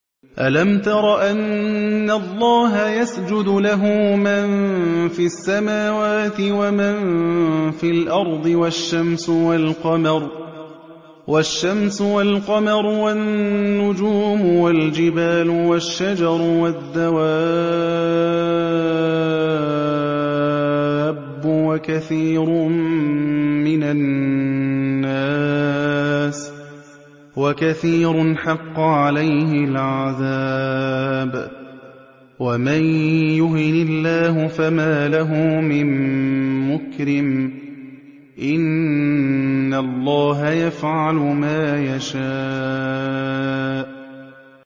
أَلَمْ تَرَ أَنَّ اللَّهَ يَسْجُدُ لَهُ مَن فِي السَّمَاوَاتِ وَمَن فِي الْأَرْضِ وَالشَّمْسُ وَالْقَمَرُ وَالنُّجُومُ وَالْجِبَالُ وَالشَّجَرُ وَالدَّوَابُّ وَكَثِيرٌ مِّنَ النَّاسِ ۖ وَكَثِيرٌ حَقَّ عَلَيْهِ الْعَذَابُ ۗ وَمَن يُهِنِ اللَّهُ فَمَا لَهُ مِن مُّكْرِمٍ ۚ إِنَّ اللَّهَ يَفْعَلُ مَا يَشَاءُ ۩